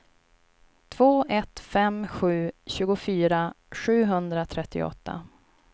två ett fem sju tjugofyra sjuhundratrettioåtta